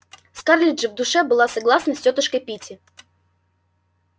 скарлетт же в душе была согласна с тётушкой питти